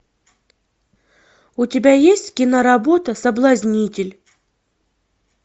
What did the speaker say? у тебя есть киноработа соблазнитель